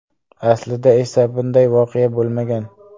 Aslida esa bunday voqea bo‘lmagan.